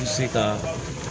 se ka